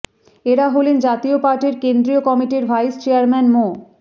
এঁরা হলেন জাতীয় পার্টির কেন্দ্রীয় কমিটির ভাইস চেয়ারম্যান মো